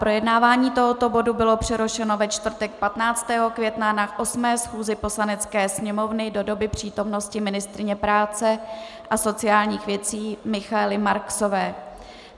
Projednávání tohoto bodu bylo přerušeno ve čtvrtek 15. května na 8. schůzi Poslanecké sněmovny do doby přítomnosti ministryně práce a sociálních věcí Michaely Marksové.